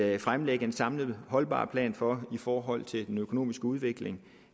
vil fremlægge en samlet holdbar plan for i forhold til den økonomiske udvikling